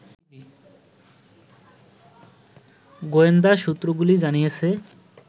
গোয়েন্দা সূত্রগুলি জানিয়েছে